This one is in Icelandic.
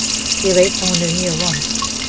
Ég veit að hún er mjög vond.